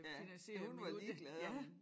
Ja hun var ligeglad om